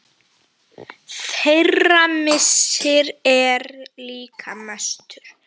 Þeirra missir er líka mestur.